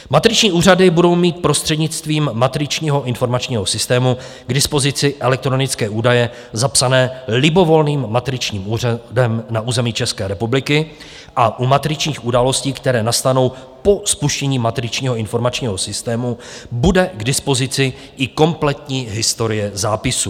Matriční úřady budou mít prostřednictvím matričního informačního systému k dispozici elektronické údaje zapsané libovolným matričním úřadem na území České republiky a u matričních událostí, které nastanou po spuštění matričního informačního systému, bude k dispozici i kompletní historie zápisu.